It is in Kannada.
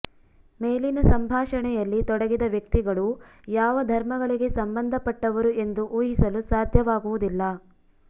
ಮೇಲಿನ ಸಂಭಾಷಣೆಯಲ್ಲಿ ತೊಡಗಿದ ವ್ಯಕ್ತಿಗಳು ಯಾವ ಧರ್ಮಗಳಿಗೆ ಸಂಬಂಧಪಟ್ಟವರು ಎಂದು ಊಹಿಸಲು ಸಾಧ್ಯವಾಗುವುದಿಲ್ಲ